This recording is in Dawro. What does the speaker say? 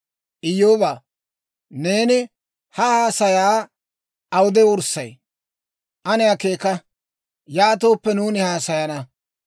«Iyyoobaa, neeni ha haasayaa awude wurssay? Ane akeeka. Yaatooppe nuuni haasayana.